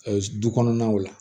du kɔnɔnaw la